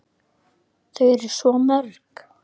Þau eru svo mörg.